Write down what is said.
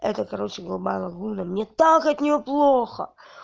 это короче голубая лагуна мне так от неё плохо